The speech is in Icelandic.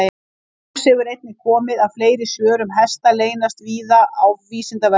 Í ljós hefur einnig komið að fleiri svör um hesta leynast víða á Vísindavefnum.